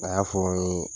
A y'a fɔ n ye